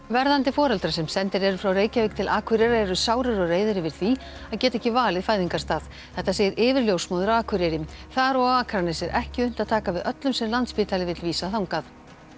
verðandi foreldrar sem sendir eru frá Reykjavík til Akureyrar eru sárir og reiðir yfir því að geta ekki valið fæðingarstað þetta segir yfirljósmóðir á Akureyri þar og á Akranesi er ekki unnt að taka við öllum sem Landspítali vill vísa þangað